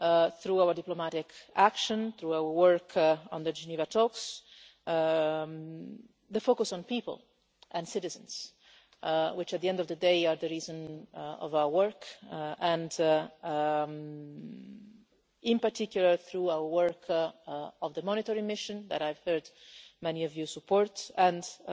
through our diplomatic action, through our work on the Geneva talks, the focus on people and citizens which, at the end of the day, are the reason for our work and, in particular, through our work in the monitoring mission, that I have heard many of you support, and in